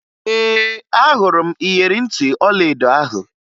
Ee, ahụrụ m iyeri ntị ọlaedo ahụ